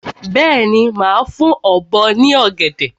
Bẹ́ẹ̀ni, màá fún ọ̀bọ ní ọ̀gẹ̀dẹ̀.